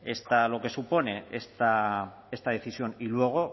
lo que supone esta decisión y luego